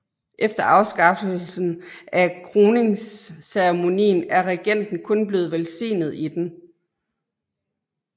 Efter afskaffelsen af kroningsceremonien er regenten kun blevet velsignet i den